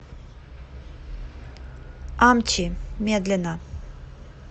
амчи медленно